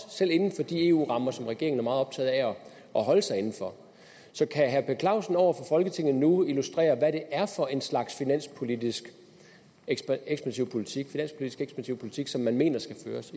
selv inden for de eu rammer som regeringen er meget optaget af at holde sig inden for så kan herre per clausen over for folketinget nu illustrere hvad det er for en slags finanspolitisk ekspansiv politik ekspansiv politik som man mener skal føres